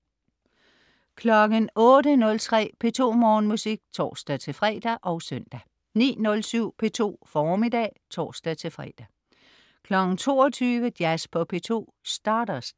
08.03 P2 Morgenmusik (tors-fre og søn) 09.07 P2 Formiddag (tors-fre) 22.00 Jazz på P2 - Stardust